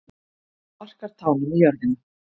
Sparkar tánum í jörðina.